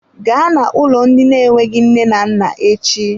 Gaa na-ụlọ ndị na-enweghị nne na nna echi!